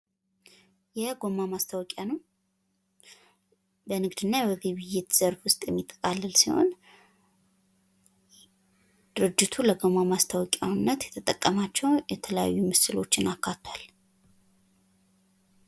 የገበያ ጥናት የሸማቾችን ምርጫና አዝማሚያ በመተንተን ለንግድ ስትራቴጂዎች ጠቃሚ መረጃ ይሰጣል።